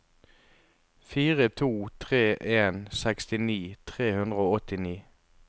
fire to tre en sekstini tre hundre og åttini